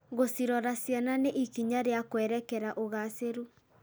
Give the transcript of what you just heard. Gũcirora ciana nĩ ikinya rĩa kwerekera ũgacĩĩru.